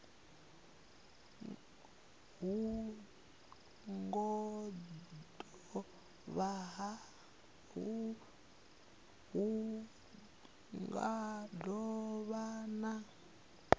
hu nga do vha na